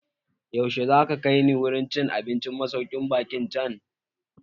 Yaushe za ka kai ni wurin cin abincin masaukin baƙin can?